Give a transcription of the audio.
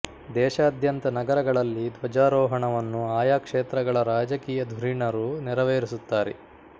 ದೇಶಾದ್ಯಂತ ನಗರಗಳಲ್ಲಿ ಧ್ವಜಾರೋಹಣವನ್ನು ಆಯಾ ಕ್ಷೇತ್ರಗಳ ರಾಜಕೀಯ ಧುರೀಣರು ನೆರವೇರಿಸುತ್ತಾರೆ